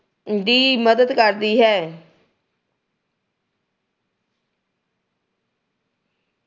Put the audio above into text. ਦੀ ਮਦਦ ਕਰਦੀ ਹੈ।